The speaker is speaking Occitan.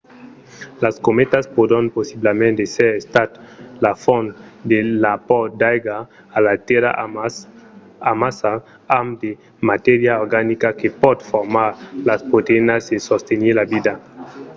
las cometas pòdon possiblament èsser estat la font de l'apòrt d'aiga a la tèrra amassa amb de matèria organica que pòt formar las proteïnas e sostenir la vida